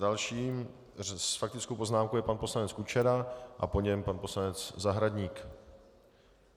Dalším s faktickou poznámkou je pan poslanec Kučera a po něm pan poslanec Zahradník.